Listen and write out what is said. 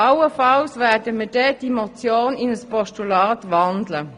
Allenfalls werden wir danach die Motion in ein Postulat wandeln.